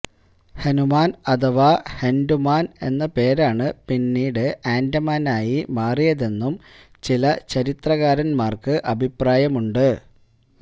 ഹനുമാന് അഥവാ ഹന്ഡുമാന് എന്ന പേരാണ് പിന്നീട് ആന്ഡമാനായി മാറിയതെന്നും ചില ചരിത്രകാരന്മാര്ക്ക് അഭിപ്രായമുണ്ട്